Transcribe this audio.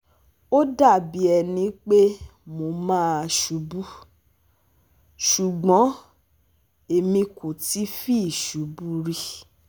Ó dà bí ẹni pé mo máa ṣubú, ṣùgbọ́n èmi kò fi ti ṣubú rí